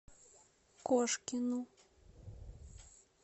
кошкину